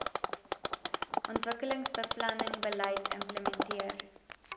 ontwikkelingsbeplanning beleid implementeer